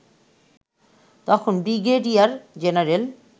তখন brigadier general